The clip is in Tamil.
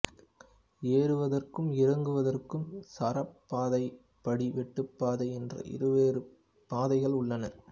ஏறுவதற்கும் இறங்குவதற்கும் சாரப்பாதை படிவெட்டுப்பாதை என்ற இருவேறு பாதைகள் உள்ளன